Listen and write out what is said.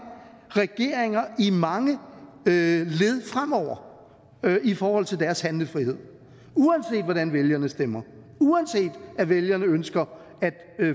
regeringer i mange led fremover i forhold til deres handlefrihed uanset hvordan vælgerne stemmer uanset at vælgerne ønsker